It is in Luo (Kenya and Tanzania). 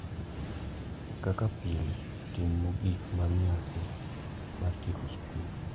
Kaka pile, tim mogik mar nyasi mar tieko skul,